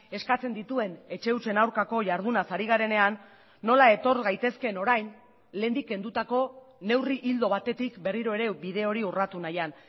eskatzen dituen etxe hutsen aurkako jardunaz ari garenean nola etor gaitezkeen orain lehendik kendutako neurri ildo batetik berriro ere bide hori urratu nahian